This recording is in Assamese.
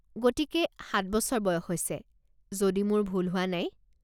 গতিকে, সাত বছৰ বয়স হৈছে, যদি মোৰ ভুল হোৱা নাই।